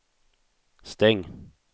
stäng